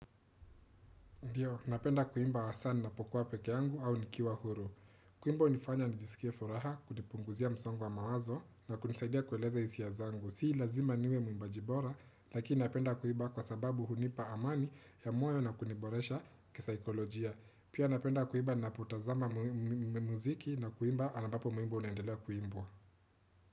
Ndiyo, napenda kuimba wasaa ninapokuwa peke yangu au nikiwa huru. Kuimba hunifanya nijisikie furaha, kunipunguzia msongo wa mawazo na kunisaidia kueleza hisia zangu. Si lazima niwe muimbaji bora, lakini napenda kuimba kwa sababu hunipa amani ya moyo na kuniboresha kisaikolojia. Pia napenda kuimba napotazama muziki na kuimba ambapo wimbo unendelea kuimbwa.